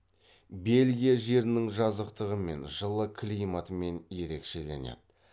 бельгия жерінің жазықтығымен жылы климатымен ерекшеленеді